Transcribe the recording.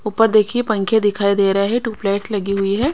ऊपर देखिए पंखे दिखाई दे रहे हैं टू प्लेट्स लगी हुई है।